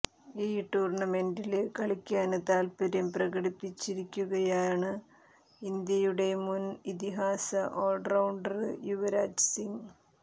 ഈ ടൂര്ണമെന്റില് കളിക്കാന് താല്പ്പര്യം പ്രകടിപ്പിച്ചിരിക്കുകയാണ് ഇന്ത്യയുടെ മുന് ഇതിഹാസ ഓള്റൌണ്ടര് യുവരാജ് സിങ്